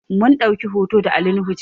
Mun ɗauki hoto da Ali nuhu jiya